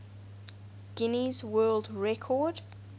guinness world record